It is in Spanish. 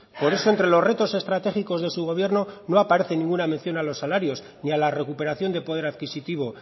por eso entre los retos estratégicos de su gobierno no aparece ninguna mención a los salarios ni a la recuperación de poder adquisitivo